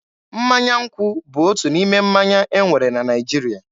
Mmanya nkwụ bụ otu n'ime mmanya e nwere na Naịjirịa.